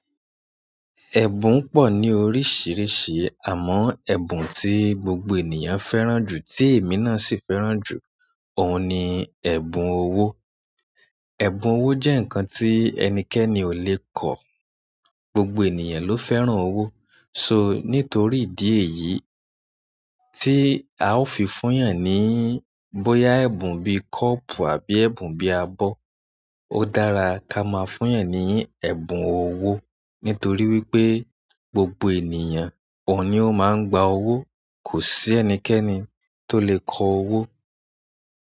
Ẹ̀bùn pọ̀ ní oríṣìíríṣìí àmọ́ ẹ̀bùn tí gbogbo ènìyàn fẹ́ràn jù tí èmi náà sì fẹ́ràn jù óun ni ẹ̀bùn owó. Ẹ̀bùn owó jẹ́ ǹnkan tí ẹnikẹ́ni ò lè kọ̀. Gbogbo ènìyàn ló fẹ́ràn owó. So nítorí ìdí èyí tí a ó fi fún yan ní bóyá ẹ̀bùn bí i kọ́ọ̀pù àbí ẹ̀bùn bí i abọ́. Ó dára ká máa fún yan ní ẹ̀bùn owó nítorí wípé gbogbo ènìyàn oun ni ó máa ń gba owó. Kò sí ẹnikẹ́ni tó lè kọ owó.